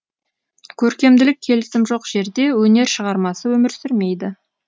көркемділік келісім жоқ жерде өнер шығармасы өмір сүрмейді